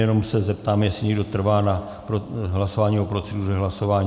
Jenom se zeptám, jestli někdo trvá na hlasování o proceduře hlasování.